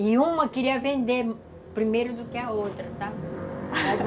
E uma queria vender primeiro do que a outra, sabe?